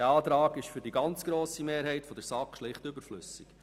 Dieser Antrag ist für die ganz grosse Mehrheit der SAK schlicht überflüssig.